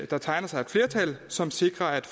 der tegner sig et flertal som sikrer at